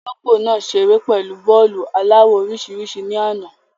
Olóńgbò nàá ṣeré pẹ̀lú bọ́ọ́lu aláwọ̀ orísìírísìí ní àná.